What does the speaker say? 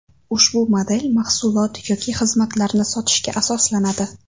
Ushbu model mahsulot yoki xizmatlarni sotishga asoslanadi.